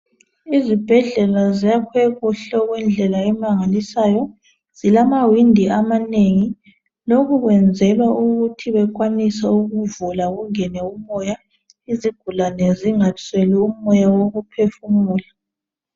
Izibhedlela ziyakhiwe kuhle okwendlela emangalisayo .Zilamawindi amanengi ,lokhu kwenzelwa ukuthi bekwanise ukuvula kungene umoya .Izigulane zingasweli umoya wokuphefumula .